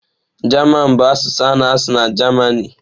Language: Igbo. German bụ asụsụ a na-asụ na Jamanị.